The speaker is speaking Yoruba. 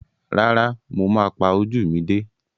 Rárá, mo pa ojú mi dé.